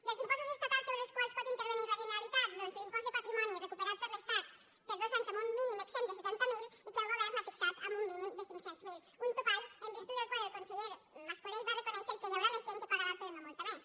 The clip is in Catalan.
dels impostos estatals sobre els quals pot intervenir la generalitat doncs l’impost de patrimoni recuperat per l’estat per dos anys amb un mínim exempt de setanta mil i que el govern ha fixat en un mínim de cinc cents miler un topall en virtut del qual el conseller mascolell va reconèixer que hi haurà més gent que pagarà però no molta més